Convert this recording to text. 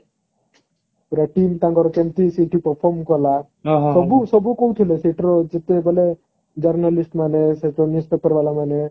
ପୁରା team ତାଙ୍କର କେମିତି ସେଠି perform କଲା ସବୁ ସବୁ କହୁଥିଲା ଯେତେବେଳେ journalist ମାନେ news paper ବାଲା ମାନେ